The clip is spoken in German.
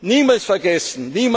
Niemals vergessen!